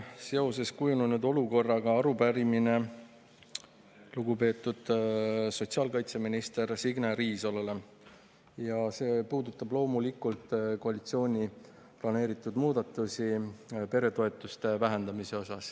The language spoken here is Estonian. Minul on kujunenud olukorra kohta arupärimine lugupeetud sotsiaalkaitseminister Signe Riisalole ja see puudutab loomulikult koalitsiooni planeeritud muudatusi peretoetuste vähendamiseks.